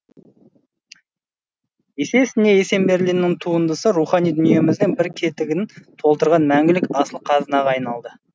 есесіне есенберлиннің туындысы рухани дүниеміздің бір кетігін толтырған мәңгілік асыл қазынаға айналды